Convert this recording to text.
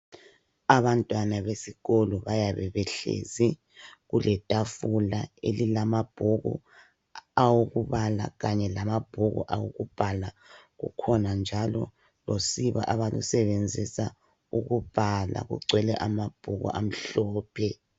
Abantwana besikolo bayabe behlezi kule tafula elilamabhuku awokubala kanye lamabhuku owobhalwa kukhona njalo usiba abalusebenzisa ukubhala kugcwele amabhuku amhlophe.